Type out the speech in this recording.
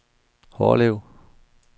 Hårlev